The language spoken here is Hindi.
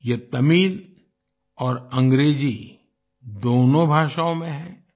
यह तमिल और अंग्रेजी दोनों भाषाओं में है